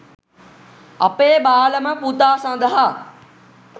අපේ බාලම පුතා සඳහා